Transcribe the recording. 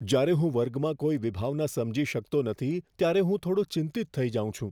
જ્યારે હું વર્ગમાં કોઈ વિભાવના સમજી શકતો નથી ત્યારે હું થોડો ચિંતિત થઈ જાઉં છું.